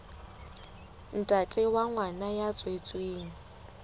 ntate wa ngwana ya tswetsweng